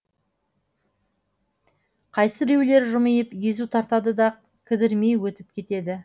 қайсы біреулер жымиып езу тартады да кідірмей өтіп кетеді